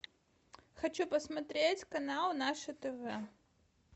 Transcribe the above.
хочу посмотреть канал наше тв